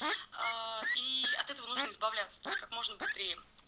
аа и от этого нужно избавляться то есть как можно быстрее